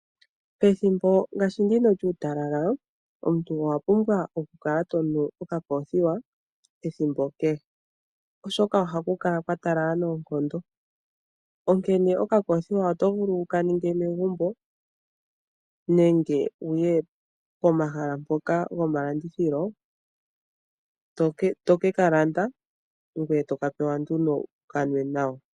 Pethimbo ngaashi ndino lyuutalala, omuntu owa pumbwa okukala to nu okoothiwa ethimbo kehe oshoka oha ku kala kwa talala noonkondo. Onkene okakoothiwa oto vulu wu ka ninge megumbo nenge wuye pomahala mpoka gomalandithilo tokeka landa ngoye to ka pewa nduno wu ka nwe nawa.